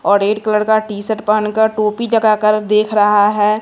और red colour का T shirt पहन का और टोपी लगाकर देख रहा है।